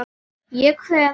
Ég kveð.